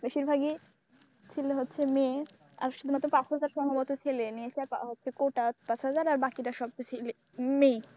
বেশিরভাগই ছিল হচ্ছে মেয়ে। আর শুধুমাত্র পাঁচহাজার সম্ভবত ছেলে মেয়ে টা হচ্ছে কোটা দশ হাজার আর বাকিটা সবটা ছেলে, মেয়ে।